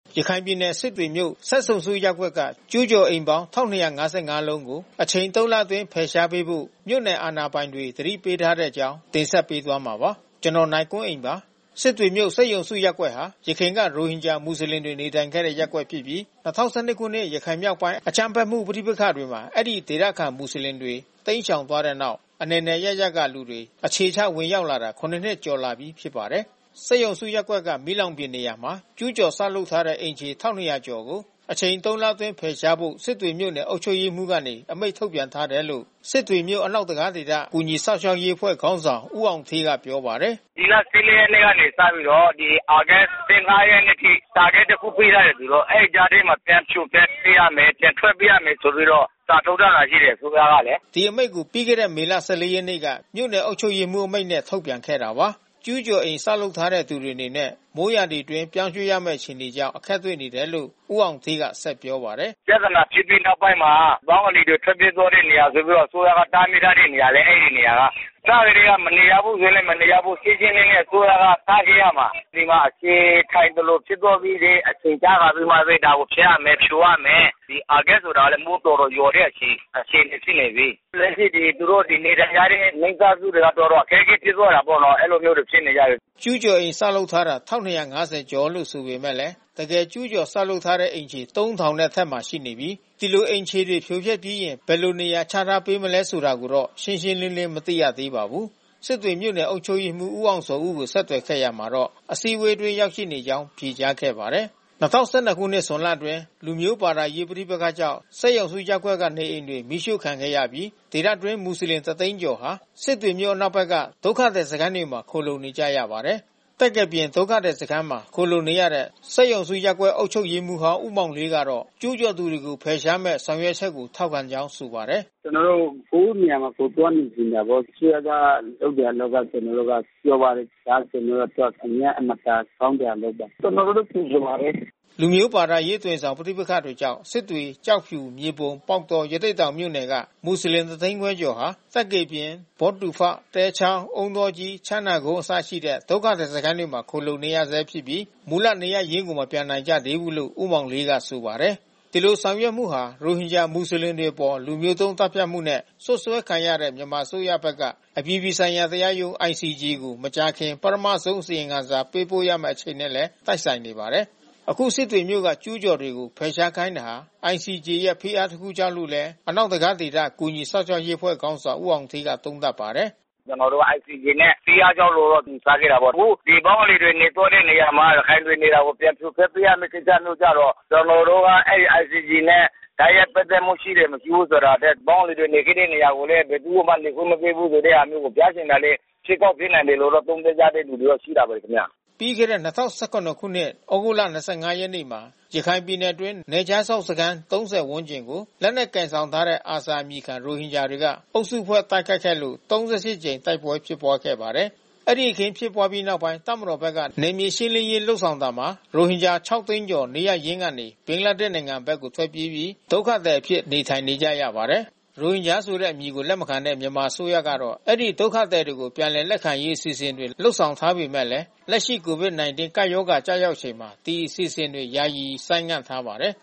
ရခိုင်ပြည်နယ် စစ်တွေမြို့ စက်ရုံစုရပ်ကွက်က ကျူးကျော်အိမ်ပေါင်း ၁,၂၅၅ လုံးကို အချိန်သုံးလအတွင်း ဖယ်ရှားဖို့ မြို့နယ်အာဏာပိုင်တွေ သတိပေးထားတဲ့အကြောင်း တင်ဆက်ပေးပါမယ်။ ဒီအကြောင်း ဗွီအိုအေမြန်မာပိုင်းသတင်းထောက် ကိုနိုင်ကွန်းအိန်က တင်ပြထားပါတယ်။ စစ်တွေမြို့ စက်ရုံစုရပ်ကွက်ဟာ ယခင်က ရိုဟင်ဂျာမွတ်ဆလင်တွေ နေထိုင်ခဲ့တဲ့ ရပ်ကွက်ဖြစ်ပြီး ၂၀၁၂ ခုနှစ် ရခိုင်မြောက်ပိုင်း အကြမ်းဖက်မှု ပဋိပက္ခတွေမှာ အဲဒီဒေသခံမွတ်ဆလင်တွေ တိမ်းရှောင်သွားတဲ့နောက် အနယ်နယ် အရပ်ရပ်က လူတွေ အခြေချဝင်ရောက်လာတာ ၇ နှစ်ကျော်လာပြီး ဖြစ်ပါတယ်။ စက်ရုံစုရပ်ကွက်က မီးလောင်ပြင်နေရာမှာ ကျူးကျော်ဆောက်လုပ်ထားတဲ့ အိမ်ခြေ ၁,၂၀၀ ကျော်ကို အချိန် သုံးလအတွင်း ဖယ်ရှားဖို့ စစ်တွေမြို့နယ်အုပ်ချုပ်ရေးမှူးကနေ အမိန့်ထုတ်ပြန်ထားတယ်လို့ စစ်တွေမြို့ အနောက် တံခါးဒေသ ကူညီစောင့်ရှောက်ရေးအဖွဲ့ခေါင်းဆောင်ဦးအောင်ဌေးက ပြောပါတယ်။ “ဒီလ ၁၄ ရက်နေ့ကနေ စပြီးတော့ သြဂုတ် ၁၅ ရက်နေ့အထိ စာထွက်တခု ပေးထားတယ်ဆိုတော့ အဲဒီကြားထဲမှာ ပြန်ဖြိုဖျက်ပေးရမယ် ပြန်ထွက်ပေးရမယ်ဆိုပြီးတော့ စာထုတ်ထားတာရှိတယ် အစိုးရကလေ။” ဒီအမိန့်ကို ပြီးခဲ့တဲ့ မေလ ၁၄ ရက်က မြို့နယ်အုပ်ချုပ်ရေးမှူးအမိန့်နဲ့ ထုတ်ပြန်ခဲ့တာပါ။ ကျူးကျော်အိမ်ဆောက်ထားတဲ့သူတွေအနေနဲ့ မိုးရာသီအတွင်းပြောင်းရွှေ့ရမယ့် အခြေအနေကြောင့် အခက်တွေ့နေတယ်လို့ ဦးအောင်ဌေးက ဆက်ပြောပါတယ်။ “ပြဿနာဖြစ်ပြီးနောက်ပိုင်းမှာ ဘင်္ဂလီတွေ ထွက်ပြေးသွားတဲ့နေရာဆိုပြီးတော့ အစိုးရက တားမြစ်ထားတဲ့နေရာလေ အဲဒီနေရာက။ အစကတည်းက မနေရဘူးဆိုရင်လည်း မနေရဘူး။ ရှင်းရှင်းလင်းလင်း အစိုးရက တားခဲ့ရမှာ။ ဒီမှာအခြေခိုင်သလိုဖြစ်သွားပြီးမှ အချိန်ကျမှပဲ ဒါကိုဖျက်ရမယ်၊ ဖြိုရမယ်။ ဒီသြဂုက်ဆိုတော့လည်း မိုးတော်တော်ရွာတဲ့အချိန် ဖြစ်နေပြီ။ လက်ရှိသူတို့နေထိုင်ကြတဲ့ မိသားစုတွေက တော်တော်အခက်ခဲဖြစ်သွားကြတယ်ပေါ့နော်။ အဲဒီလိုမျိုးတွေဖြစ်နေကြတယ်။” ကျူးကျော်အိမ်ဆောက်ထားတာ ၁,၂၅၀ ကျော်လို့ ဆိုပေမဲ့ တကယ့်ကျူးကျော်ဆောက်လုပ်ထားတဲ့အိမ်ခြေ ၃,၀၀၀ နဲ့ အထက်မှာရှိနေပြီး ဒီလိုအိမ်ခြေဖြိုဖျက်ပြီးရင် ဘယ်လိုနေရာချထားပေးမလဲဆိုတာကိုတော့ ရှင်းရှင်းလင်းလင်း မသိရသေးပါဘူး။ စစ်တွေမြို့နယ် အုပ်ချုပ်ရေးမှူး ဦးအောင်ဇော်ဦးကို ဆက်သွယ်ခဲ့ရာမှာတော့ အစည်းအဝေးအတွင်း ရောက်နေကြောင်း ဖြေကြားခဲ့ပါတယ်။ ၂၀၁၂ ခုနှစ် ဇွန်လအတွင်း လူမျိုး ဘာသာရေး ပဋိပက္ခကြောင့် စက်ရုံစုရပ်ကွက်ကနေအိမ်တွေ မီးရှို့ခံခဲ့ရပြီး ဒေသ တွင်း မွတ်စလင် ၁၀၀,၀၀၀ ကျော်ဟာ စစ်တွေမြို့ အနောက်ဘက်က ဒုက္ခသည်စခန်းတွေမှာ ခိုလှုံနေကြရပါတယ်။ သက္ကယ်ပြင်ဒုက္ခသည်စခန်းမှာ ခိုလှုံနေရတဲ့ စက်ရုံစုရပ်ကွက် အုပ်ချုပ်ရေးမှူးဟောင်း ဦးမောင်လေးကတော့ ကျူးကျော်တွေကို ဖယ်ရှားမယ့် ဆောင်ရွက်ချက်ကို ထောက်ခံကြောင်း ဆိုပါတယ်။ “ကျနော်တို့က ကိုယ့်နေရာမှာ ကိုယ်ပြောင်းနေချင်ကြတာပေါ့။ အစိုးရက ထုတ်ပြန်တာက ကျနော်တို့က ပျော်ပါတယ်။ ဒါကျနော်တို့အတွက် အရမ်းအင်မတန်ကောင်းတာ လုပ်တာ။ ကျနော်တို့ကြိုဆိုပါတယ်။” လူမျိုး ဘာသာရေးအသွင်ဆောင် ပဋိပက္ခတွေကြောင့် စစ်တွေ၊ ကျောက်ဖြူ၊ မြေပုံ၊ ပေါက်တော၊ ရသေ့တောင်မြို့နယ်က မူဆလင် ၁၅၀,၀၀၀ ကျော်ဟာ သက္ကေပြင်၊ ဘောဒူဖ သဲချောင်း၊ အုန်းတောကြီး၊ ချမ်းသာကုန်းအစရှိတဲ့ ဒုက္ခသည်စခန်းတွေမှာ ခိုလှုံနေရဆဲဖြစ်ပြီး မူလနေရပ်ရင်းကို မပြန်နိုင်ကြသေးဘူးလို့ ဦးမောင်လေးက ဆိုပါတယ်။ အခု ဆောင်ရွက်မှုဟာ ရိုဟင်ဂျာမူဆလင်တွေအပေါ်လူမျိုးတုံး သတ်ဖြတ်မှုနဲ့ စွပ်စွဲခံထားရတဲ့ မြန်မာအစိုးရဘက်က အပြည်ပြည်ဆိုင်ရာတရားရုံး ICJ ကို မကြာခင် ပထမဆုံး အစီရင်ခံစာ ပေးပို့ရမယ့်အချိန်နဲ့လည်း တိုက်ဆိုင်နေပါတယ်။ အခုစစ်တွေမြို့က ကျူးကျော်တွေကို ဖယ်ရှားခိုင်းတာဟာ ICJ ရဲ့ဖိအား တခုကြောင့်လို့လည်း အနောက်တံခါးဒေသ ကူညီစောင့်ရှောက်ရေးအဖွဲ့ခေါင်းဆောင်ဦးအောင်ဌေးက သုံးသပ်ပါတယ်။ “ကျနော်တို့ ICJ ရဲ့ဖိအားကြောင့်လို့ ယူဆခဲ့တာပေါ့။ အခုဒီဘင်္ဂလီတွေနေသွားတဲ့နေရာမှာ ရခိုင်တွေနေတာကို ပြန်ဖြိုဖျက်ပေးရမယ့် ကိစ္စမျိုးကျတော့ ကျနော်တို့က အဲဒီ ICJ နဲ့ တိုက်ရိုက်ပတ်သက်မှု ရှိတယ်၊ မရှိဘူးဆိုတာထက် ဘင်္ဂလီတွေနေသွားတဲ့ နေရာကိုလည်း ဘယ်သူကိုမှ နေခွင့်မပြုဘူးဆိုတဲ့ဟာမျိုးကို ပြချင်တာလည်း ဖြစ်ကောင်းဖြစ်နိုင်တယ်လို့ သုံးသပ်ကြတဲ့သူတွေတော့ရှိပါတယ်ခင်ဗျ။” ပြီးခဲ့တဲ့ ၂၀၁၇ သြဂုတ်လ ၂၅ ရက်နေ့မှာ ရခိုင်ပြည်နယ်အတွင်း နယ်ခြားစောင့်စခန်း ၃၀ ဝန်းကျင်ကို လက်နက်ကိုင်ဆောင်ထားတဲ့ ARSA အမည်ခံ ရိုဟင်ဂျာတွေက အုပ်စုဖွဲ့တိုက်ခိုက်ခဲ့လို့ ၃၈ ကြိမ် တိုက်ပွဲဖြစ်ပွားခဲ့ပါတယ်။ အဲဒီအခင်းဖြစ်ပွားပြီးနောက်ပိုင်း တပ်မတော်ဘက်က နယ်မြေရှင်းလင်းရေးလုပ်ဆောင်တာမှာ ရိုဟင်ဂျာ ၆၀၀,၀၀၀ ကျော် နေရပ်ကနေ ဘင်္ဂလားဒေ့ရှ်နိုင်ငံဘက်ကို ထွက်ပြေးပြီး ဒုက္ခသည်အဖြစ် နေထိုင်နေရပါတယ်။ ရိုဟင်ဂျာဆိုတဲ့အမည်ကို လက်မခံတဲ့ မြန်မာအစိုးရကတော့ အဲဒီဒုက္ခသည်တွေကို ပြန်လည်လက်ခံရေး အစီအစဉ်တွေ လုပ်ဆောင်ထားပေမဲ့လည်း လက်ရှိ COVID-19 ကပ်ရောဂါ ကျရောက်နေချိန်မှာ ဒီ အစီအစဉ်တွေယာယီ ဆိုင်းငံထားပါတယ်